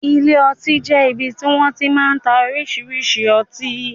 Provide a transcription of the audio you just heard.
Ilé ọtí jẹ ibì ti wọn ti máa ń tá oríṣiríṣi ọtí